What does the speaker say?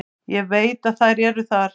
Ég veit að þær eru þar.